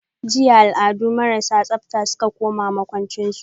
jiya alladu marasa tsabta suka koma makwanchin su.